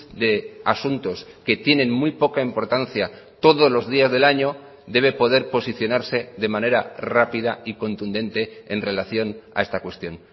de asuntos que tienen muy poca importancia todos los días del año debe poder posicionarse de manera rápida y contundente en relación a esta cuestión